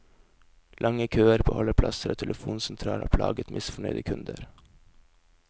Lange køer på holdeplasser og telefonsentral har plaget misfornøyde kunder.